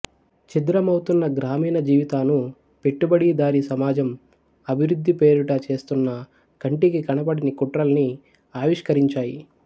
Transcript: ఛిద్రమవుతున్న గ్రామీణ జీవితాను పెట్టుబడిదారీ సమాజం అభివృద్ధి పేరిట చేస్తున్న కంటికి కనబడని కుట్రల్ని ఆవిష్కరించాయి